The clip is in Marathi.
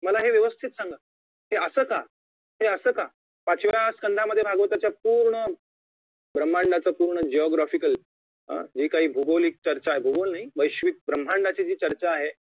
मला हे व्यवस्थित सांगा हे असं का ते असं का पाचव्या संघामध्ये भागवताच्या पूर्ण ब्रम्हांडाचा पूर्ण geographical जी काय भूगोलीक चर्चा आहे भूगोल नाही वैश्विक ब्रम्हांडाची जी चर्चा आहे